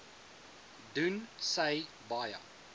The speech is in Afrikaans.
doen sy baie